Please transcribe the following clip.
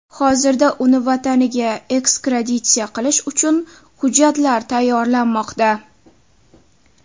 Hozirda uni vataniga ekstraditsiya qilish uchun hujjatlar tayyorlanmoqda.